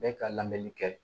Bɛɛ ka lamɛnni kɛ